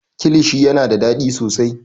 kilishi yana da daɗi sosai